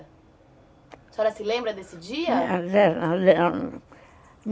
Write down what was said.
A senhora se lembra desse dia?